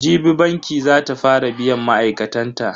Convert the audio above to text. Jibi banki za ta fara biyan ma'aikatan ta.